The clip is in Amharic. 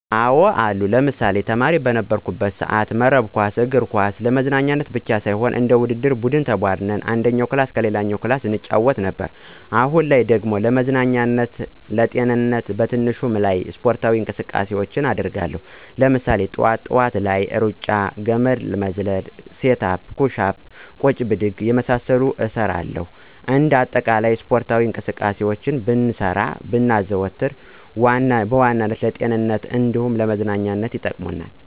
አዎ አሉ። ለምሳሌ፦ ተማሪ በነበርኩበት ሰአት መረብ ኳስ፣ እግር ኳስ ለመዝናናት ብቻ ሳይሆን እንደ ውድድር ቡድን ተቧድነን አንደኛው ክፍል ከሌላኛው ክፍል እንጫወት ነበር። አሁን ላይ ደግሞ ለመዝናኛም ለጤንነትም በትንሹም ቢሆን ስፖርታዊ እንቅስቃሴውችን አደርጋለው። ለምሳሌ፦ ጥዋት ጥዋት ላይ ሩጫ፣ ገመድ ዝላይ፣ ሴት አፕ፣ ኩሽ አፕ፣ ቁጭ ብድግ የመሳሰሉትን እሰራለሁኝ። እንደ አጠቃላይ ስፖርታዊ እንቅስቃሴውችን ብንሰራ ብናዘወትር በዋናነት ለጤንነትም እንደ መዝናኛም ይጠቅመናል።